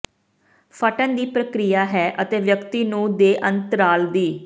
ਫਟਣ ਦੀ ਪ੍ਰਕਿਰਿਆ ਹੈ ਅਤੇ ਵਿਅਕਤੀ ਨੂੰ ਦੇ ਅੰਤਰਾਲ ਦੀ